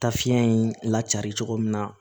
Taa fiɲɛ in lacari cogo min na